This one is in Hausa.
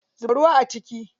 Zuba ruwa a ciki.